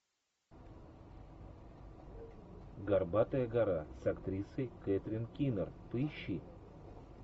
горбатая гора с актрисой кэтрин кинер поищи